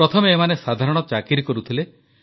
ପ୍ରଥମେ ଏମାନେ ସାଧାରଣ ଚାକିରି କରୁଥିଲେ